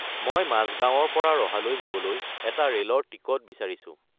মই মাজগাৱঁৰ পৰা ৰহালৈ যাবলৈ এটা ৰে'লৰ টিকট বিচাৰিছোঁ